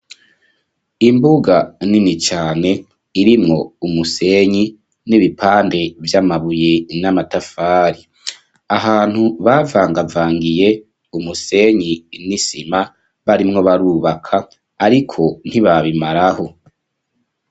Imbuga nini cane, irimwo umusenyi, n'ibipande vy'amabuye, n'amatafari; ahantu, bavangavangiye, umusenyi n'isima, barimwo barubaka, ariko, ntibabimaraho.